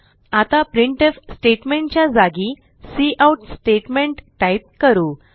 आता printf statement च्या जागी काउट स्टेटमेंट टाईप करू